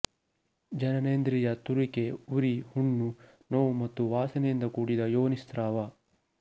ಜನನೇಂದ್ರಿಯತುರಿಕೆ ಉರಿ ಹುಣ್ಣು ನೋವು ಮತ್ತು ವಾಸನೆಯಿಂದ ಕೂಡಿದ ಯೋನಿಸ್ರಾವ